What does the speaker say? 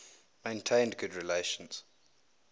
maintained good relations